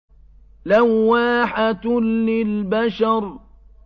لَوَّاحَةٌ لِّلْبَشَرِ